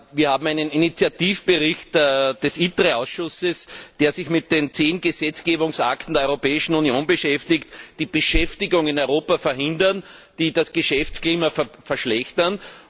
Wir haben einen Initiativbericht des ITRE Ausschusses, der sich mit den zehn Gesetzgebungsakten der Europäischen Union beschäftigt, die Beschäftigung in Europa verhindern, die das Geschäftsklima verschlechtern.